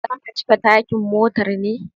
Zaka cika tankin motar ne?